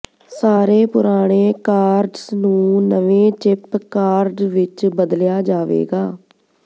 ਸਾਰੇ ਪੁਰਾਣੇ ਕਾਰਡਸ ਨੂੰ ਨਵੇਂ ਚਿਪ ਕਾਰਡ ਵਿਚ ਬਦਲਿਆ ਜਾਵੇਗਾ